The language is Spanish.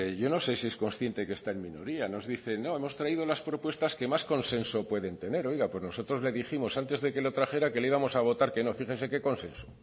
yo no sé si es consciente que está en minoría nos dice no hemos traído las propuestas que más consenso que puede tener oiga pues nosotros le dijimos antes de que lo trajera que le íbamos a votar que no fíjese qué consenso